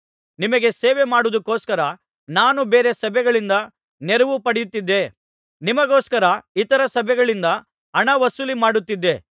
ನಿಮಗೆ ಸೇವೆಮಾಡುವುದಕ್ಕೋಸ್ಕರ ನಾನು ಬೇರೆ ಸಭೆಗಳಿಂದ ನೆರವು ಪಡೆಯುತ್ತಿದ್ದೆ ನಿಮಗೋಸ್ಕರ ಇತರ ಸಭೆಗಳಿಂದ ಹಣ ವಸೂಲಿಮಾಡುತ್ತಿದ್ದೆ